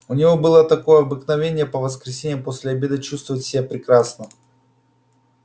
у него было такое обыкновение по воскресеньям после обеда чувствовать себя прекрасно